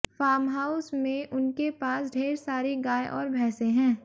farmhouse में उनके पास ढेर सारी गाय और भैंसे हैं